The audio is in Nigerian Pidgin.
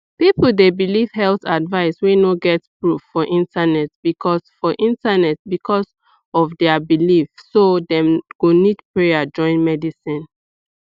people dey believe health advice wey no get proof for internet because for internet because of their belief so dem go nid prayer join medicine